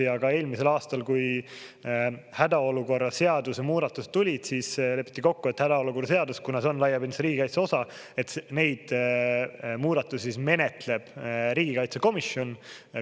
Ja ka eelmisel aastal, kui hädaolukorra seaduse muudatused tulid, siis lepiti kokku, et hädaolukorra seadus, kuna see on laiapindse riigikaitse osa, et neid muudatusi menetleb riigikaitsekomisjon.